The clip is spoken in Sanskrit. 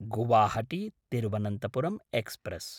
गुवाहाटी–तिरुवनन्तपुरं एक्स्प्रेस्